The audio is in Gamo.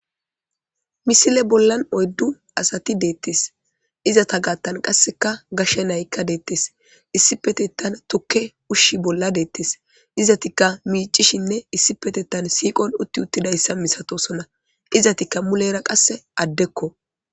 misile bollan oyddu asati deettes izata gaattan qasseka gashshe naykka deettes issi petettan tokke ushshi bolla deettes izatikka miicishinne issi petettan siiqon utti uttidayssa misatosona izatikka mulera qasse addekko